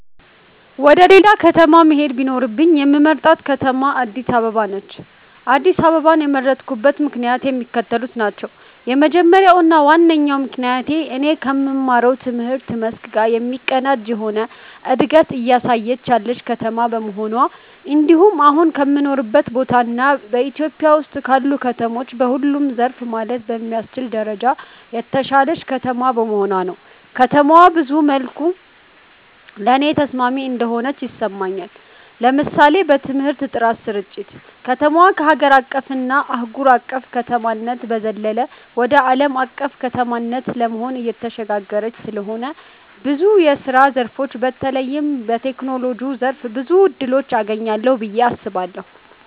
ወደ ሌላ ከተማ መሄድ ቢኖርብኝ የምመርጣት ከተማ አድስ አበባ ነች። አድስ አበባን የመረጥኩበት ምክንያትም የሚከተሉት ናቸው። የመጀመሪያው እና ዋነኛው ምክንያቴ እኔ ከምማረው ትምህርት መስክ ጋር የሚቀናጅ የሆነ እንደገት እያሳየች ያለች ከተማ በመሆኗ እንድሁም አሁን ከምኖርበት ቦታ እና ኢትዮጵያ ውስጥ ካሉ ከተሞች በሁሉም ዘርፍ ማለት በሚያስችል ደረጃ የተሻለች ከተማ በመሆኗ ነው። ከተማዋ ብዙ መልኩ ለኔ ተስማሚ እንደሆነች ይሰማኛል። ለምሳሌ በትምህርት ጥራት ስርጭት፣ ከተማዋ ከሀገር አቀፍ እና አህጉር አቅፍ ከተማነት በዘለለ ወደ አለም አቀፍ ከተማነት ለመሆን እየተሸጋገረች ስለሆነ ብዙ የስራ ዘርፎች በተለይም በቴክኖሎጂው ዘርፍ ብዙ እድሎችን አገኛለሁ ብየ አስባለሁ።